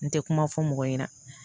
N tɛ kuma fɔ mɔgɔ ɲɛna